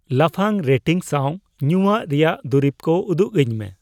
ᱞᱟᱯᱷᱟᱝ ᱨᱮᱴᱤᱝ ᱥᱟᱸᱣ ᱧᱩᱭᱟᱜ ᱨᱮᱭᱟᱜ ᱫᱩᱨᱤᱵ ᱠᱩ ᱩᱫᱩᱜᱟᱹᱧ ᱢᱮ ᱾